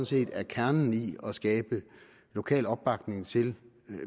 set er kernen i at skabe lokal opbakning til